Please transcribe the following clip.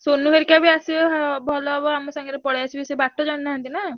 ସୋନୁ ହରିକା ବି ଆସିବେ ହଁ ଭଲ ହବ ଆମ ସାଙ୍ଗରେ ପଳେଇଆସିବେ ସେ ବାଟ ଜାଣିନାହାନ୍ତି ନା।